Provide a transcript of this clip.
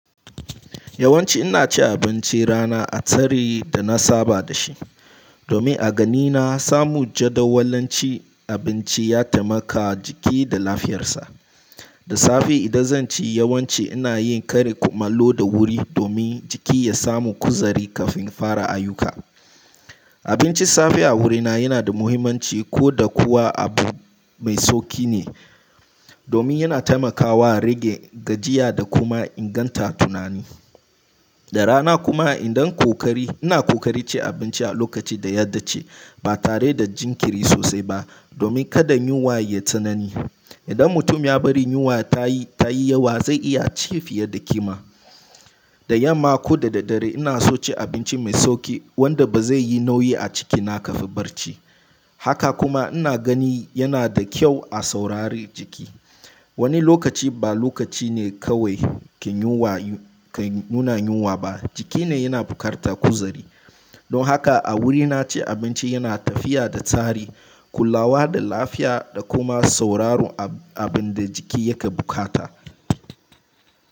Yawanci ina cin abinci rana a tsari da na saba da shi. Domin a ganina samun jadawalin cin abinci ya taimaka jiki da lafiyarsa. Da safe idan zan ci yawanci ina yin karin kumallo da wuri, domin jiki ya samu kuzari kafin fara ayyuka. Abinci safe a wurina yana da muhimmanci ko da kuwa abu mai sauki ne. Domin yana taimakawa rage gajiya da kuma inganta tunani. Da rana kuma idan kokari, ina kokari ci abinci a lokaci da ya da ce ba tare da jinkiri sosai ba, domin kada yunwa yai tsanani. Idan mutum ya bari yunwa ta yi, ta yi yawa zai iya ci fiye da kima. Da yamma ko da daddare, ina so ci abinci mai sauki wanda ba zai yi nauyi a cikina kafin barci. Haka kuma ina gani yana da kyau a saurari jiki. Wani lokaci ba lokaci ne kawai kin yunwa, kai nuna yunwa ba jiki ne yana buƙatar kuzari. Don haka a wurina ci abinci yana tafiya da tsari, kulawa da lafiya da kuma sauraron abin da jiki yake buƙata.